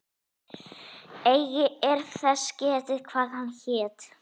Eigi er þess getið, hvað hann hét.